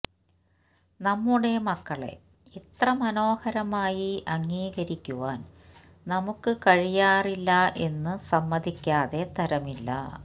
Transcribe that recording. നമ്മുടെ മക്കളെ ഇത്ര മനോഹരമായി അംഗീകരിക്കുവാന് നമുക്കു കഴിയാറില്ല എന്നു സമ്മതിക്കാതെ തരമില്ല